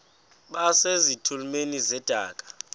base zitulmeni zedaka